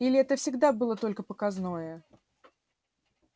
или это всегда было только показное